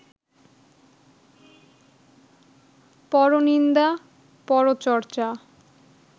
পরনিন্দা, পরচর্চা